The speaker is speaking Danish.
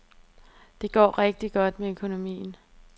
Det går rigtig godt med økonomien.